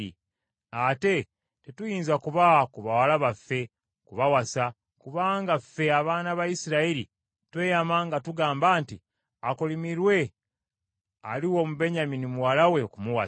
Ate tetuyinza kubawa ku bawala baffe kubawasa, kubanga ffe abaana ba Isirayiri tweyama nga tugamba nti, ‘Akolimirwe aliwa Omubenyamini muwala we okumuwasa.’